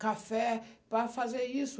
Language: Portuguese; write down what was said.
café, para fazer isso.